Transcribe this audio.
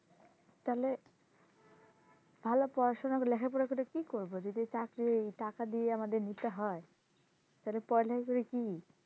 তাহলে ভালো পড়াশুনা করে লেখা পরে কি করবো চাকরি যদি আমাদের টাকা দিয়েই নিতে হয় তাহলে পড়া লেখা করে কি?